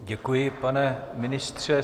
Děkuji, pane ministře.